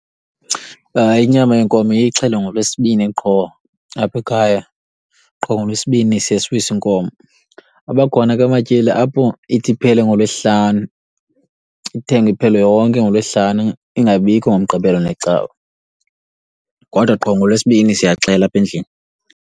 Inyama yenkomo iye ixhelwe ngoLwesibini qho aphekhaya, qho ngoLwesibini siye siwise inkomo. Abakhona ke amatyeli apho ithi iphele ngoLwesihlanu. Ithengwe iphele yonke ngoLwesihlanu ingabikho ngoMgqibelo neCawa. Kodwa qho ngoLwesibini siyaxhela apha endlini.